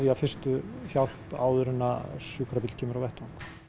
fyrstu hjálp áður en sjúkrabíll kemur á vettvang